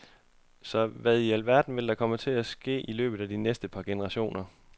Så hvad i al verden vil der komme til at ske i løbet af de næste par generationer?